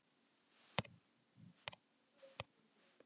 Bjöggi, hvaða mánaðardagur er í dag?